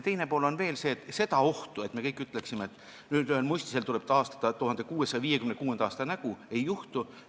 Teine pool on veel see, et seda ohtu, et me kõik ütleksime, et mõnel muistisel tuleb taastada 1656. aasta nägu, ei juhtu.